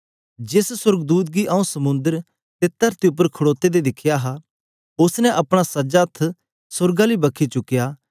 जेस सोर्गदूत गी आऊँ समुंद्र ते तरती उपर खडोते दे दिखया हा उस्स ने अपना सज्जा हत्थ सोर्ग आली बक्खी चुकया